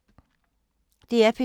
DR P2